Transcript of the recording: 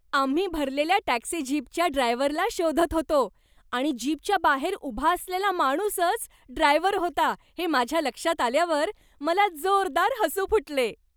आम्ही भरलेल्या टॅक्सी जीपच्या ड्रायव्हरला शोधत होतो आणि जीपच्या बाहेर उभा असलेला माणूसच ड्रायव्हर होता हे माझ्या लक्षात आल्यावर मला जोरदार हसू फुटले.